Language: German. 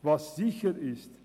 Was sicher ist: